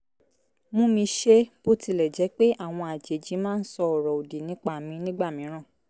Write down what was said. mú mi ṣe é bó tilẹ̀ jẹ́ pé àwọn àjèjì máa ń sọ ọ̀rọ̀ òdì nípa mi nígbà mìíràn